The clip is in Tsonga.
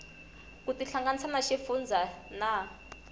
ku tihlanganisa na xifundzha na